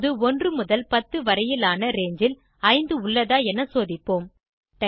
இப்போது 1 முதல் 10 வரையிலான ரங்கே ல் 5 உள்ளதா என சோதிப்போம்